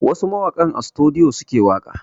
Wasu mawakan a sutudiyo suke waƙa